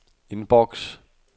inbox